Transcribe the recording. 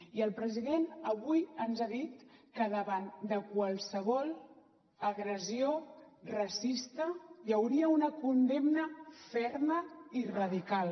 i el president avui ens ha dit que davant de qualsevol agressió racista hi hauria una condemna ferma i radical